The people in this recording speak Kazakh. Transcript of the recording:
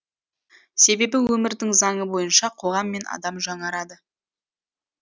себебі өмірдің заңы бойынша қоғам мен адам жаңарады